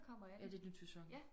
Ja det er et nyt sæson